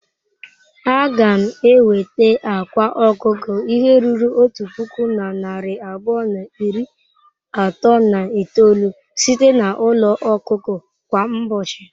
A ga m enweta akwa ọkụkọ ihe ruru otu puku na narị abụọ na iri atọ na itoolu site na n'ụlọ ọkụkọ kwa ụbọchị?